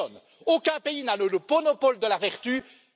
Personne, aucun pays, n'a le monopole de la vertu, ni du vice!